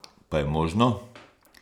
Pa je možno?